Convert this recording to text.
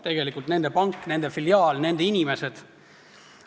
Tegelikult on see nende pank, nende filiaal, nende inimesed.